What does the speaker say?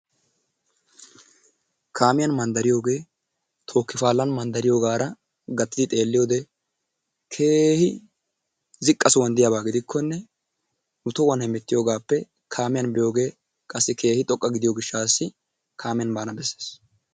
Kaamiyan mandariyoogeee tooki paalan mandariyoogaara gattidi xeelliyode keehi ziqqa sohuwaan diyabaa gidikkonne nu tohuwaan hemettiyogaappe kaamiyan biyoogee qassi keehi xoqqa gidiyo gishshaasi kaamiyan baana besees.